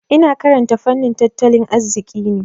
Ina karanta fannin tattalin arziki ne.